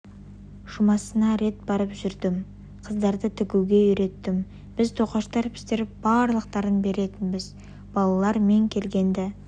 жұмасына рет барып жүрдім қыздарды тігуге үйреттім біз тоқаштар пісіріп барлықтарын беретінбіз балалар мен келгенді